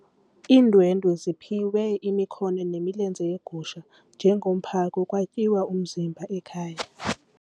Iindwendwe ziphiwe imikhono nemilenze yegusha njengomphako kwatyiwa umzimba ekhaya.